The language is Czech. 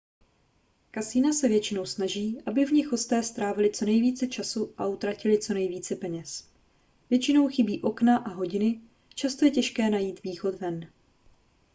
kasina se většinou snaží aby v nich hosté strávili co nejvíce času a utratili co nejvíce peněz většinou chybí okna a hodiny často je těžké najít východ ven